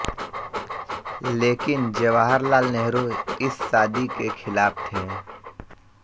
लेकिन जवाहर लाल नेहरू इस शादी के खिलाफ थे